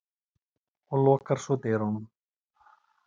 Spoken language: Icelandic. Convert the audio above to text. og lokar svo dyrunum.